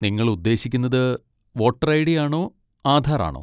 നിങ്ങൾ ഉദ്ദേശിക്കുന്നത് voter ID. ആണോ ആധാർ ആണോ?